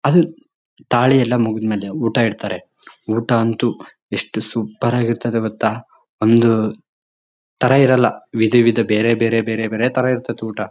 ಅದು ತಾಳಿ ಎಲ್ಲ ಮುಗಿದ್ಮೇಲೆ ಊಟ ಇಡ್ತಾರೆ ಊಟ ಅಂತೂ ಎಸ್ಟ್ ಸೂಪರ್ ಆಗಿ ಇರ್ತದೆ ಗೊತ್ತಾ ಒಂದು ತರ ಇರೋಲ್ಲ ವಿಧ ವಿಧ ಬೇರೆ ಬೇರೆ ಬೇರೆ ತರ ಇರ್ತಿತೆ ಊಟ.